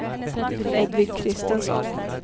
Hedvig Kristensson